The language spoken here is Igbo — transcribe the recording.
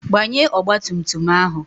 Gbanye ọgba tum tum ahụ!